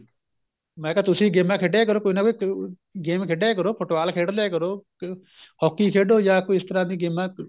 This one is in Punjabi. ਮੈਂ ਕਿਹਾ ਤੁਸੀਂ ਗੇਮਾ ਖੇਡਿਆ ਕਰੋ ਕੋਈ ਨਾ ਕੋਈ game ਖੇਡਿਆ ਕਰੋ football ਖੇਡ ਲਿਆ ਕਰੋ hockey ਖੇਡੋ ਜਾਂ ਕੋਈ ਇਸ ਤਰ੍ਹਾਂ ਦੀ ਗੇਮਾ